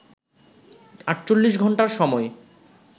৪৮ ঘন্টার সময়